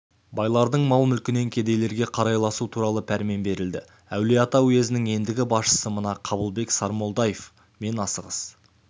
байлардың мал-мүлкінен кедейлерге қарайласу туралы пәрмен берілді әулиеата уезінің ендігі басшысы мына қабылбек сармолдаев мен асығыс